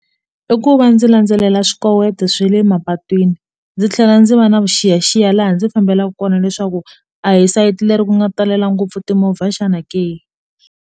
I ku va ndzi landzelela swikoweto swa le mapatwini ndzi tlhela ndzi va na vuxiyaxiya laha ndzi fambelaka kona leswaku a hi sayiti leri ku nga talela ngopfu timovha xana ke.